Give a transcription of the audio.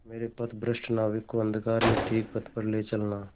मेरे पथभ्रष्ट नाविक को अंधकार में ठीक पथ पर ले चलना